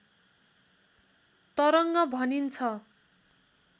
तरङ्ग भनिन्छ